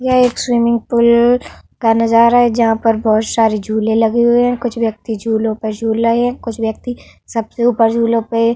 यह एक swimming pool का नजारा है जहाँ पर बोहोत सारे झूले लगे हुए हैं। कुछ व्यक्ति झूलों पे झूल रहे हैं। कुछ व्यक्ति सबसे ऊपर झूलों पे --